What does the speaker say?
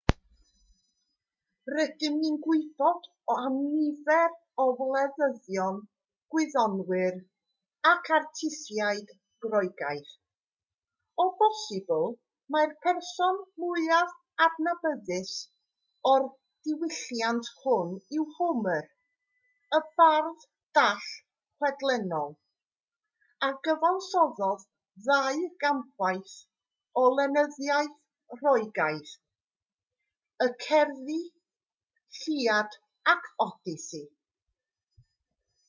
rydyn ni'n gwybod am nifer o wleidyddion gwyddonwyr ac artistiaid groegaidd o bosibl mai'r person mwyaf adnabyddus o'r diwylliant hwn yw homer y bardd dall chwedlonol a gyfansoddodd ddau gampwaith o lenyddiaeth roegaidd y cerddi iliad ac odyssey